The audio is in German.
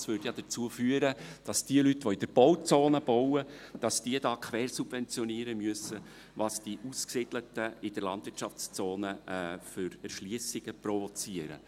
Das würde ja dazu führen, dass jene Leute, die in der Bauzone bauen, hier die Erschliessungen quersubventionieren müssen, welche die Ausgesiedelten in der Landwirtschaftszone provozieren.